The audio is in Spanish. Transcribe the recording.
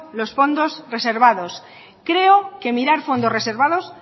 los fondos reservados creo que mirar fondos reservados